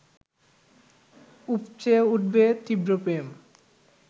উপচে উঠবে তীব্র প্রেম